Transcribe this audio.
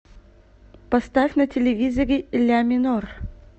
поставь на телевизоре ля минор